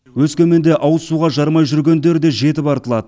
өскеменде ауыз суға жарымай жүргендер де жетіп артылады